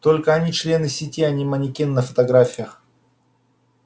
только они члены сети а не манекены на фотографиях